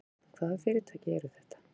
Þorbjörn: Hvaða fyrirtæki eru þetta?